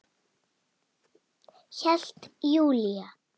Hélt Júlía.